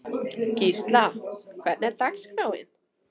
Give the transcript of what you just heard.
Gísla, hvernig er dagskráin?